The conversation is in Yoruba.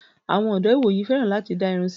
Àwọn ọdọ́ ìwòyìí fẹ́ràn láti dá irun sí.